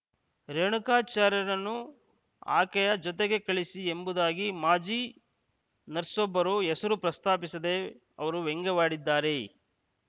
ರೇಣುಕಾಚಾರ್ಯನನ್ನು ಆಕೆಯ ಜೊತೆಗೆ ಕಳಿಸಿ ಎಂಬುದಾಗಿ ಮಾಜಿ ನರ್ಸ್ ಒಬ್ಬರು ಹೆಸರು ಪ್ರಸ್ತಾಪಿಸದೇ ಅವರು ವ್ಯಂಗ್ಯವಾಡಿದ್ಧಾರೆ